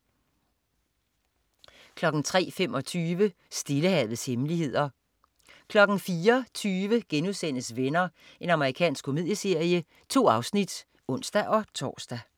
03.25 Stillehavets hemmeligheder 04.20 Venner.* Amerikansk komedieserie. 2 afsnit (ons-tors)